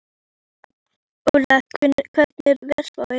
Óla, hvernig er veðurspáin?